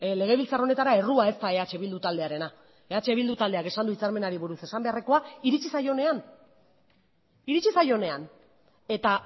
legebiltzar honetara errua ez da eh bildu taldearena eh bildu taldeak esan du hitzarmenari buruz esan beharrekoa iritzi zaionean iritzi zaionean eta